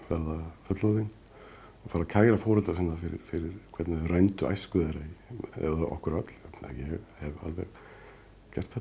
fullorðin og fara að kæra foreldra sína fyrir fyrir hvernig þau rændu æsku þeirra eða okkur öll ég hef alveg gert þetta